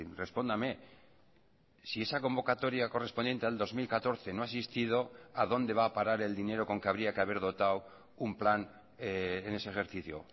respóndame si esa convocatoria correspondiente al dos mil catorce no ha existido a dónde va a parar el dinero con que habría que haber dotado un plan en ese ejercicio